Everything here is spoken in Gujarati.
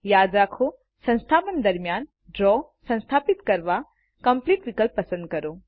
યાદ રાખોસંસ્થાપન દરમ્યાનDraw સંસ્થાપિત કરવા કોમ્પ્લીટ વિકલ્પ પસંદ કરો